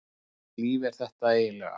Hvurslags líf er þetta eiginlega?